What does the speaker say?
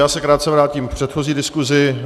Já se krátce vrátím k předchozí diskusi.